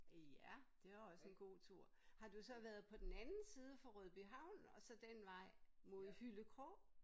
Ja! Det er også en god tur. Har du så været på den anden side for Rødby Havn og så den vej mod Hyllekrog?